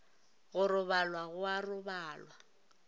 go robalwa go a robalwa